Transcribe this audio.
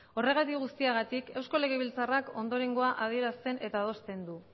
horregatik guztiagatik eusko legebiltzarrak ondorengoa adierazten eta adosten du